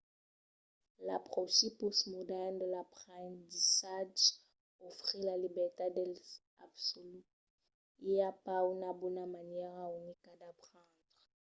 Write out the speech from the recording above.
l'apròchi pòstmodèrn de l'aprendissatge ofrís la libertat dels absoluts. i a pas una bona manièra unica d'aprendre